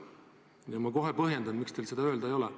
Ja ma kohe põhjendan, miks teil seda öelda ei ole.